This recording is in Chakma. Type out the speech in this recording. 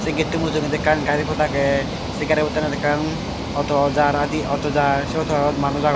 sey getto mujugedi ekkan gari pod agey sey gari pottanot ekkan auto jaar adi auto jaar sey auto ganot manus agon.